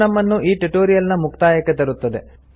ಇದು ನಮ್ಮನ್ನು ಈ ಟ್ಯುಟೋರಿಯಲ್ ನ ಮುಕ್ತಾಯಕ್ಕೆ ತರುತ್ತದೆ